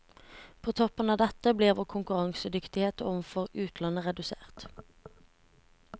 På toppen av dette blir vår konkurransedyktighet overfor utlandet redusert.